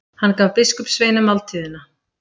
Hann gaf biskupssveinunum máltíðina.